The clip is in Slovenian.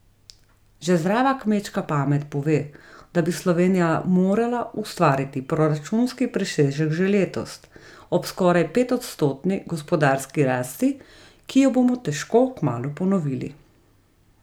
Že zdrava kmečka pamet pove, da bi Slovenija morala ustvariti proračunski presežek že letos, ob skoraj petodstotni gospodarski rasti, ki jo bomo težko kmalu ponovili.